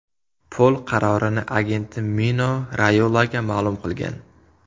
Pol qarorini agenti Mino Rayolaga ma’lum qilgan.